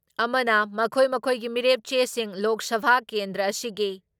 ꯑꯃꯅ ꯃꯈꯣꯏ ꯃꯈꯣꯏꯒꯤ ꯃꯤꯔꯦꯞ ꯆꯦꯁꯤꯡ ꯂꯣꯛ ꯁꯚꯥ ꯀꯦꯟꯗ꯭ꯔ ꯑꯁꯤꯒꯤ